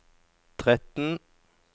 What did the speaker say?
tretten